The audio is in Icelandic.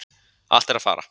Allt er að fara